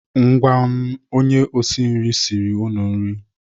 Ngwanụ onye osi siri unu nri.